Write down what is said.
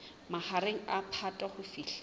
mahareng a phato ho fihlela